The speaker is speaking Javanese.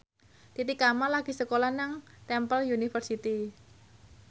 Titi Kamal lagi sekolah nang Temple University